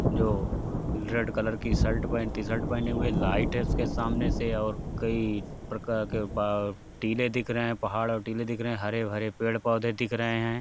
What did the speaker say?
जो red colour की shirt पहन टीशर्ट पहने हुए लाइट है उसके सामने से और कई प्रकार के ब टीले दिख रहे हैं। पहाड़ और टीले दिख रहे हैं। हरे-भरे पेड़-पौधे दिख रहे हैं।